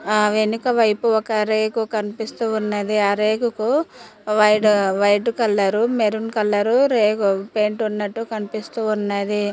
ఆ వెనుక వైపు ఒక రేకు కనిపిస్తూ ఉన్నది ఆ రేగుకు వైట్ కలరు మెరూన్ కలరు రేగు పెయింట్ ఉన్నట్టు కనిపిస్తూ ఉన్నది.